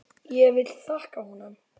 Ég vil þakka honum.